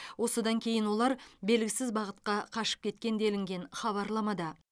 осыдан кейін олар белгісіз бағытқа қашып кеткен делінген хабарламада